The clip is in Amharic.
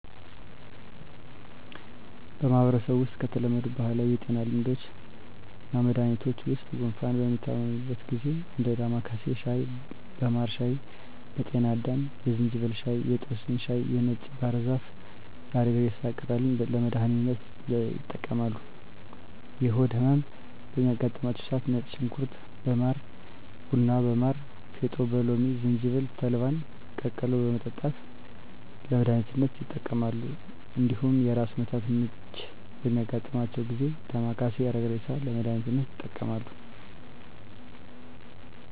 በማህበረሰቡ ውስጥ ከተለመዱ ባህላዊ የጤና ልምዶችና መድሀኒቶች ውስጥ ጉንፋን በሚታመሙበት ጊዜ እንደ ዳማካሴ ሻይ በማር ሻይ በጤና አዳም የዝንጅብል ሻይ የጦስኝ ሻይ የነጭ ባህር ዛፍና የአረግሬሳ ቅጠልን ለመድሀኒትነት ይጠቀማሉ። የሆድ ህመም በሚያጋጥማቸው ሰዓት ነጭ ሽንኩርት በማር ቡና በማር ፌጦ በሎሚ ዝንጅብል ተልባን ቀቅሎ በመጠጣት ለመድሀኒትነት ይጠቀማሉ። እንዲሁም የራስ ምታትና ምች በሚያጋጥማቸው ጊዜ ዳማካሴ አረግሬሳን ለመድሀኒትነት ይጠቀማሉ።